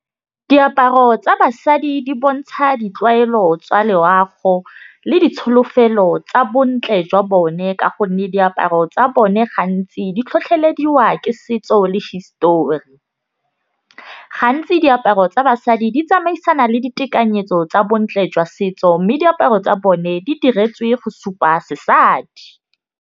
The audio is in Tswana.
Diaparo tsa basadi di bontsha ditlwaelo tsa loago le ditsholofelo tsa bontle jwa bone, ka gonne diaparo tsa bone gantsi di tlhotlhelediwa ke tseo le histori. Gantsi diaparo tsa basadi di tsamaisana le ditekanyetso tsa bontle jwa setso mme diaparo tsa bone di diretswe go supa sesadi.